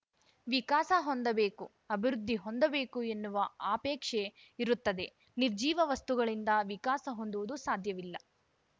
ವಿಕಾಸ ಹೊಂದಬೇಕು ಅಭಿವೃದ್ಧಿ ಹೊಂದಬೇಕು ಎನ್ನುವ ಆಪೇಕ್ಷೆ ಇರುತ್ತದೆ ನಿರ್ಜಿವ ವಸ್ತುಗಳಿಂದ ವಿಕಾಸ ಹೊಂದುವುದು ಸಾಧ್ಯವಿಲ್ಲ